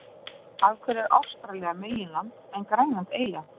af hverju er ástralía meginland en grænland eyja